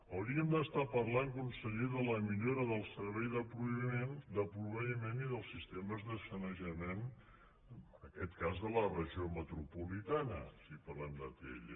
hauríem d’estar parlant conseller de la millora del servei de proveïment i dels sistemes de sanejament en aquests cas de la regió metropolitana si parlem d’atll